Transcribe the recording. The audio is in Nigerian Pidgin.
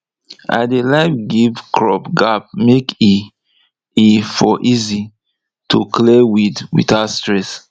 i dey like give crop gap make e e for easy to clear weed without stress